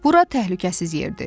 Bura təhlükəsiz yerdir.